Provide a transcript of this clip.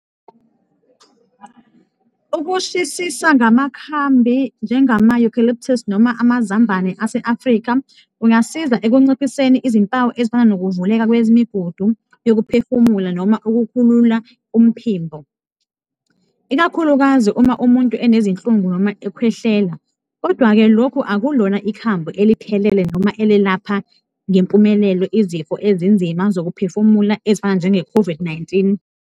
Ukushisisa ngamakhambi njengama-eucalyptus noma amazambane ase-Africa kungasiza ekunciphiseni izimpawu ezifana nokuvuleka kwemigudu yokuphefumula noma ukukhulula umphimbo, ikakhulukazi uma umuntu enezinhlungu noma ekhwehlela kodwa-ke lokhu akulona ikhambi eliphelele noma elelapha ngempumelelo izifo ezinzima zokuphefumula ezifana njenge-COVID-19.